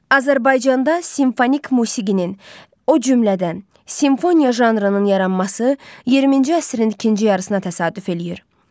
Azərbaycanda simfonik musiqinin, o cümlədən, simfoniya janrının yaranması 20-ci əsrin ikinci yarısına təsadüf eləyir.